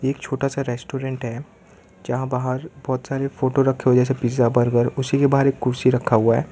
एक छोटा सा रेस्टोरेंट है जहां बाहर बहोत सारे फोटो रखे जैसे पिज्जा बर्गर उसी के बाहरी कुर्सी रखा हुआ--